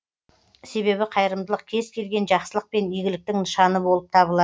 себебі қайырымдылық кез келген жақсылық пен игіліктің нышаны болып табылады